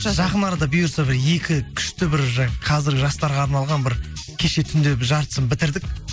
жақын арада бұйырса бір екі күшті бір қазір жастарға арналған бір кеше түнде жартысын бітірдік